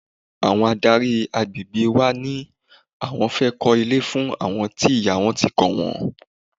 Àwọn adárí àgbègbè wa ní àwọn fẹ́ kó ilé fún àwọn tí ìyá wọn ti kọ wọ́n.